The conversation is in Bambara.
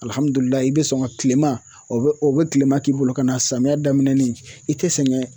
i bɛ sɔn ka tilema o bɛ tilema k'i bolo ka na samiya daminɛni i tɛ sɛgɛn.